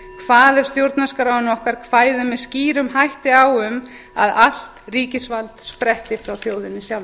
ef stjórnarskráin okkar kvæði með skýrum hætti á um að allt ríkisvald spretti frá